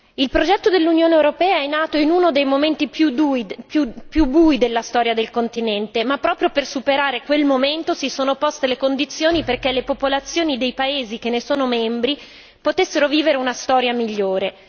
Signora Presidente, onorevoli colleghi, il progetto dell'Unione europea è nato in uno dei momenti più bui della storia del continente, ma proprio per superare quel momento si sono poste le condizioni perché le popolazioni dei paesi che ne sono membri potessero vivere una storia migliore.